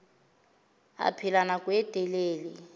a phela nako e telele